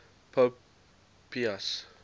pope pius